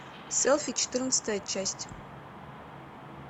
селфи четырнадцатая часть